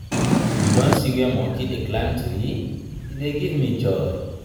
you don see where monkey dey climb tree? e dey give joy.